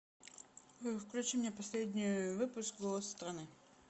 включи мне последний выпуск голос страны